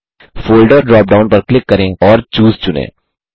folder drop down पर click करें और चूसे चुनें